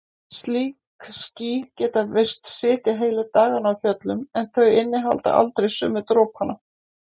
Slík ský geta virst sitja heilu dagana á fjöllunum en þau innihalda aldrei sömu dropana.